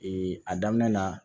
a daminɛ na